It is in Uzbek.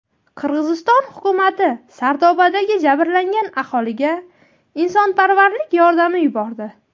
Qirg‘iziston hukumati Sardobadagi jabrlangan aholiga insonparvarlik yordami yubordi.